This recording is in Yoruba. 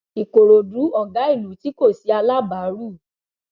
ìkòròdú ọgá ìlú tí kò sí alábàárù